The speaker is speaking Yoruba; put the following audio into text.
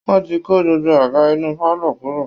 Wọ́n ti kó gbogbo àga inú pálọ̀ kúrò